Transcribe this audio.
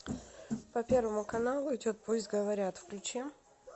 по первому каналу идет пусть говорят включи